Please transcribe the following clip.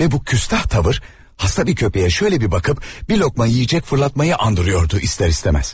Və bu həyasız davranış xəstə bir itə belə bir baxış atıb bir tikə yemək atmağa oxşayırdı istər-istəməz.